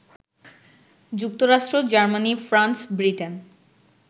যুক্তরাষ্ট্র, Germany, France, Britain